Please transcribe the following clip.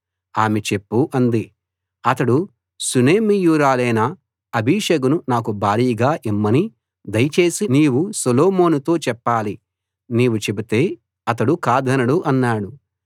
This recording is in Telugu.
ఆమె చెప్పు అంది అతడు షూనేమీయురాలైన అబీషగును నాకు భార్యగా ఇమ్మని దయచేసి నీవు సొలొమోనుతో చెప్పాలి నీవు చెబితే అతడు కాదనడు అన్నాడు